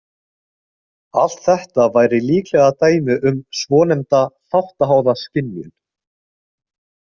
Allt þetta væri líklega dæmi um svonefnda þáttaháða skynjun.